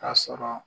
K'a sɔrɔ